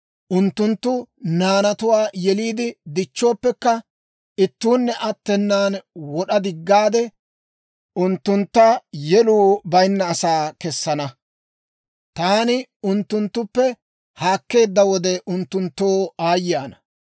Unttunttu naanatuwaa yeliide dichchooppekka, ittuunne attenan wod'a diggaade, unttunttu yeluu bayinna asaa kessana. Taani unttunttuppe haakkeedda wode, unttunttoo aayye ana.